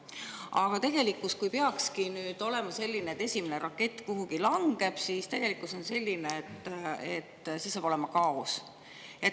Aga kui peakski esimene rakett kuhugi langema, siis tegelikkus on selline, et siis saab olema kaos.